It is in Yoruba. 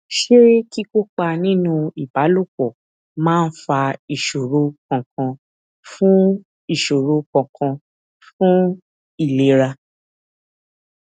ṣé kíkópa nínú ìbálòpò máa fa ìṣòro kankan fún ìṣòro kankan fún ìlera